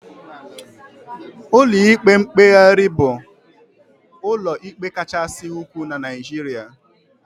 Ụlọ ikpe mkpegharị bụ ụlọ ikpe kachasị ukwuu na Naijiria